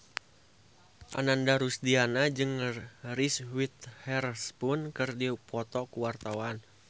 Ananda Rusdiana jeung Reese Witherspoon keur dipoto ku wartawan